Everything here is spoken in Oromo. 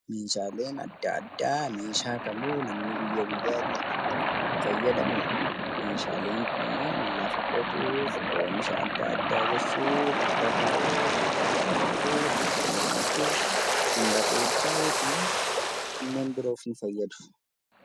Meeshaaleen adda addaa meeshaalee namni kamuu guyyaa guyyaatti itti fayyadamudha. Meeshaaleen kunneen lafa qotuuf, oomisha adda addaa galchuuf, irra taa'uuf, ittiin dhuguuf, ittiin nyaachuuf , barreessuu fi kanneen biroof fayyadu.